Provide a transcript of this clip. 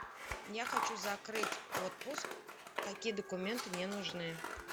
я хочу закрыть отпуск какие документы мне нужны